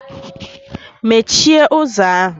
Mechie ụzọ ahụ!